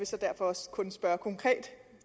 så derfor også kun spørge konkret